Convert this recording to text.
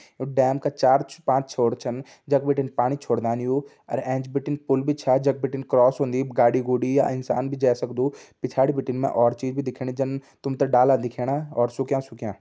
Dam का चार पांच छोर छन जख बिटिन पानी छोरदन यू अर एंच बिटिन पुल्ल भी छा जख बिटिन क्रॉस होंदी गाड़ी गुड़ी या इंसान भी जै सकदु पिछाड़ी बिटिन और चीज़ भी दिखेणी जन तुम ता डाला दिखेणा और सुख्यां सुख्यां।